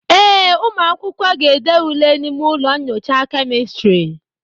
ee, ụmụ akwụkwọ ga-ede ule n'ime ụlọ nyocha kemịstrị